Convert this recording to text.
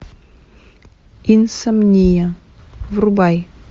инсомния врубай